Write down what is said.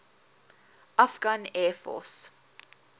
afghan air force